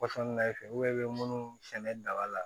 Pɔsɔn na i fɛ i bɛ munnu sɛnɛ daba la